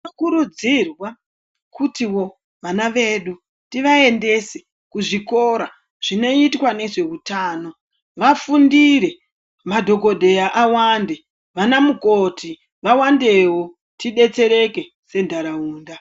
Tino kurudzirwa kutivo vana vedu tivaendese kuzvikora zvinoitwa nezve utano vafundire madhokoteya awande vana mukoti vawandewo tibetsereke se ndaraunda.